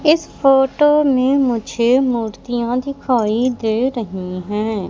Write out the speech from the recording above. इस फोटो मे मुझे मूर्तियां दिखाई दे रही है।